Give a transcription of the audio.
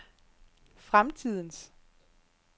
fremtidens